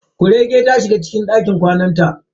Kuregen ta shiga cikin dakin kwanan ta.